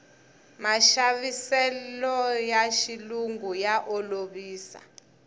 maxaviseloya xilungu ya olovisa